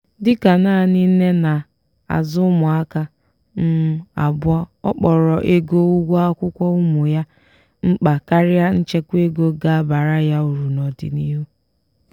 dịka nanị nne na-azụ ụmụaka um abụọ ọ kpọrọ ego ụgwọ akwụkwọ ụmụ ya mkpa karịa nchekwa ego ga abara ya uru n'ọdịnihu.